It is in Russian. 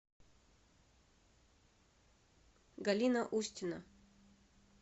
галина устина